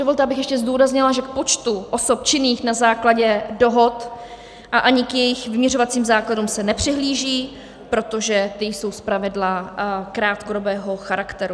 Dovolte, abych ještě zdůraznila, že k počtu osob činných na základě dohod a ani k jejich vyměřovacím základům se nepřihlíží, protože ty jsou zpravidla krátkodobého charakteru.